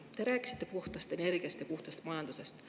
Te rääkisite puhtast energiast, puhtast majandusest.